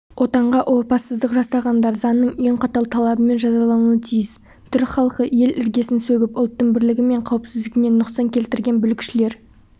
отанға опасыздық жасағандар заңның ең қатал талабымен жазалануы тиіс түрік халқы ел іргесін сөгіп ұлттың бірлігі мен қауіпсіздігіне нұқсан келтірген бүлікшілер